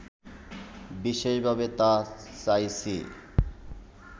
বিশেষভাবে তা চাইছি